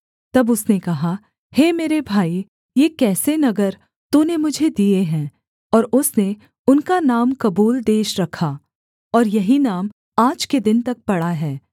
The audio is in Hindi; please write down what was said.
तब उसने कहा हे मेरे भाई ये कैसे नगर तूने मुझे दिए हैं और उसने उनका नाम कबूल देश रखा और यही नाम आज के दिन तक पड़ा है